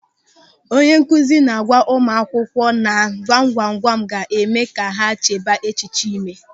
Onye nkụzi na-agwa ụmụakwụkwọ na gwamgwamgwam ga-eme ka ha chebaa echiche ịme.